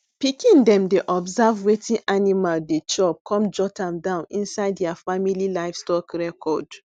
pikin dem dey observe wetin animal dey chop come jot am down inside their family livestock record